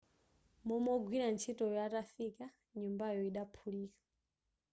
momwe wogwira ntchitoyo atafika nyumbayo idaphulika